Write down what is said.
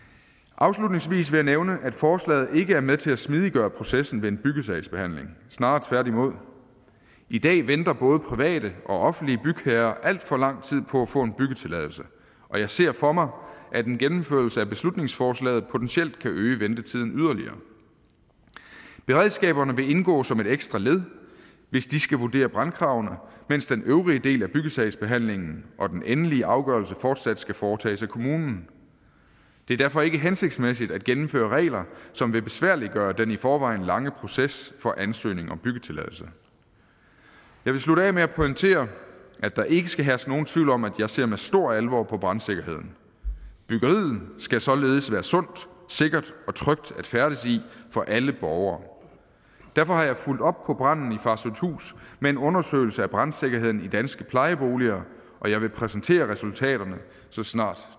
afslutningsvis vil jeg nævne at forslaget ikke er med til at smidiggøre processen ved en byggesagsbehandling snarere tværtimod i dag venter både private og offentlige bygherrer alt for lang tid på at få en byggetilladelse og jeg ser for mig at en gennemførelse af beslutningsforslaget potentielt kan øge ventetiden yderligere beredskaberne vil indgå som et ekstra led hvis de skal vurdere brandkravene mens den øvrige del af byggesagsbehandlingen og den endelige afgørelse fortsat skal foretages af kommunen det er derfor ikke hensigtsmæssigt at gennemføre regler som vil besværliggøre den i forvejen lange proces for ansøgning om byggetilladelse jeg vil slutte af med at pointere at der ikke skal herske nogen tvivl om at jeg ser med stor alvor på brandsikkerheden byggeriet skal således være sundt sikkert og trygt at færdes i for alle borgere derfor har jeg fulgt op på branden på farsøhthus med en undersøgelse af brandsikkerheden i danske plejeboliger og jeg vil præsentere resultaterne så snart